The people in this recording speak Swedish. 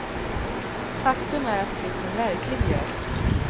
Faktum är att det finns en verklig gös.